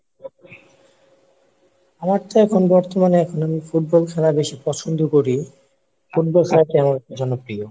আমার চেয়ে এখন বর্তমানে এখন আমি ফুটবল খেলা বেশি পছন্দ করি, ফুটবল খেলা জনপ্রিয়।